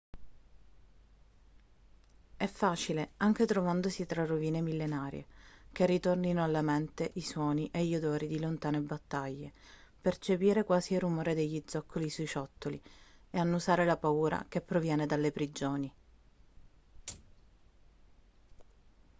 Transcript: è facile anche trovandosi tra rovine millenarie che ritornino alla mente i suoni e gli odori di lontane battaglie percepire quasi il rumore degli zoccoli sui ciottoli e annusare la paura che proviene dalle prigioni